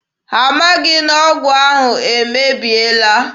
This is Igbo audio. Ha amaghị na ọgwụ ahụ emebiela.